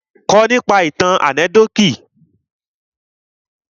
Kà nípa ìtàn ànẹ́kídòtì!